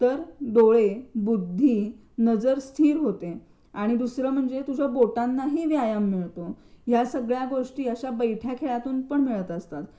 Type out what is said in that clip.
तर डोळे डोकं, बुद्धी नजर स्थिर होते आणि दुसरं म्हणजे तुझ्या बोटांना ही व्यायाम मिळतो ह्या सगळ्या गोष्टी अशा बैठ्या खेळांमधून पण मिळत असतात.